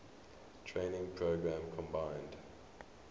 training program combined